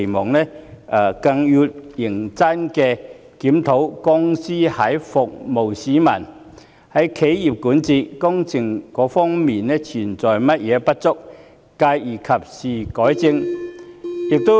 此外，港鐵公司更要認真檢討在服務市民、企業管治及工程等方面存在的不足之處，繼而及時改正。